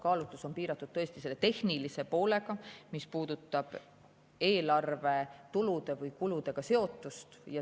Kaalutlus on piiratud selle tehnilise poolega, mis puudutab eelarve tulude või kuludega seotust.